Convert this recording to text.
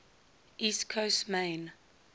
east coast maine